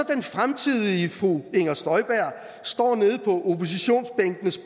fremtidige fru inger støjberg står nede på oppositionsbænkenes